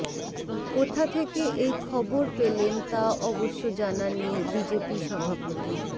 কোথা থেকে এই খবর পেলেন তা অবশ্য জানাননি বিজেপি সভাপতি